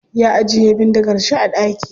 Ya ajiye bindigar shi a daki.